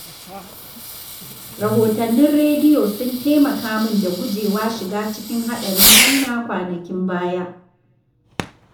Rahotannin rediyo sun taimaka min da gujewa shiga cikin haɗarin hanya kwanakin baya.